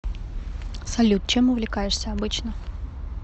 салют чем увлекаешься обычно